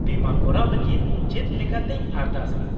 -ᱵᱤᱢᱟᱹ ᱠᱚᱨᱟᱣ ᱞᱟᱹᱜᱤᱫ ᱪᱮᱫ ᱞᱮᱠᱟᱛᱮᱧ ᱟᱨᱫᱟᱥᱼᱟ ?